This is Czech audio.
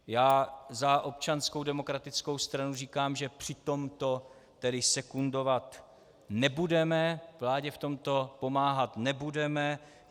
Já za Občanskou demokratickou stranu říkám, že při tomto tedy sekundovat nebudeme, vládě v tomto pomáhat nebudeme.